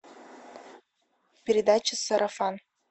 передача сарафан